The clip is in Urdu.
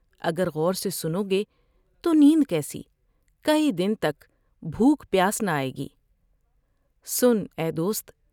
اگر غور سے سنو گے تو نیند کیسی ، کئی دن تک بھوک پیاس نہ آۓ گی ۔سن ، اے دوست!